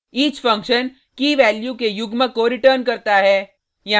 each function key value के युग्म को रिटर्न्स करता है